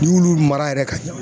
N y'olu mara yɛrɛ ka ɲa